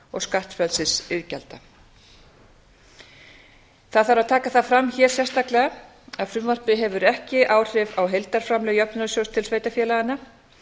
og skattfrelsisiðgjalda það þarf að taka það fram hér sérstaklega að frumvarpið hefur ekki áhrif á heildarframlög jöfnunarsjóðs til sveitarfélaganna